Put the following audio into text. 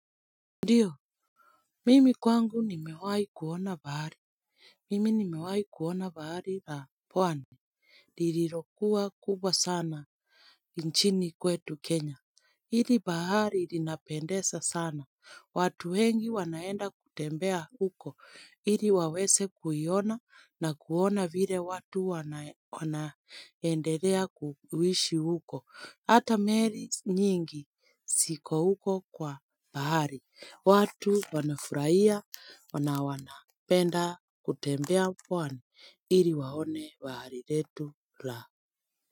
Ndiyo, mimi kwangu nimewahi kuona bahari. Mimi nimewahi kuona bahari ya pwani lililokuwa kubwa sana nchini kwetu Kenya. Hili bahari ilinapendeza sana. Watu wengi wanaenda kutembea huko. Ili waweze kuiona na kuona vile watu wanaendelea kuishi huko. Hata meli nyingi ziko huko kwa bahari. Watu wanafurahia wanawana penda kutembea pwani ili waone bahari letu la.